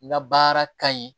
N ka baara ka ɲi